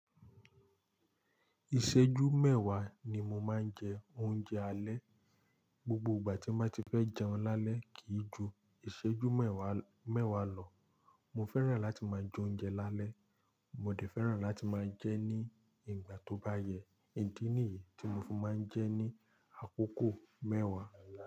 Ìṣẹ́jú mewa ni mo máa ń jẹ oúnjẹ alẹ́. Gbogbo ìgbà tí máa ti fẹ́ jẹun lálẹ́ kì í ju ìṣẹ́jú mẹ́wàá lọ. Mo fẹ́ràn láti máa jẹ oúnjẹ lálẹ́, mo dẹ̀ fẹ́ràn láti máa jẹ ní ìgbà tó bá yẹ. Idí niyí tí mo fi máa ń jẹ ní àkókò mẹ́wàá.